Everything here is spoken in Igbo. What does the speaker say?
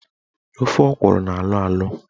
Ofe ọkwụrụ na-alọ alọ.